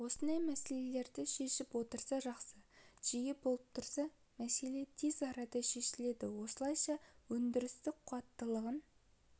осындай мәселелерді шешіп отырса жақсы жиі болып тұрса мәселе тез арада шешіледі осылайша өнідірістік қуаттылығын